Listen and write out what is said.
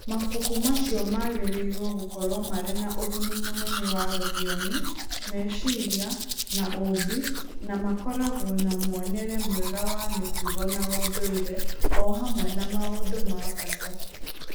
Mabuku macio magĩrĩirũo gũkorũo marĩ na ũguni mũnene wa rũthiomi, meciria, na ũũmbi, na makoragwo na muonere mwega wa mĩtugo na ũndũire, o hamwe na maũndũ ma bata.